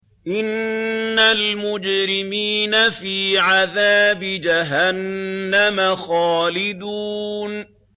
إِنَّ الْمُجْرِمِينَ فِي عَذَابِ جَهَنَّمَ خَالِدُونَ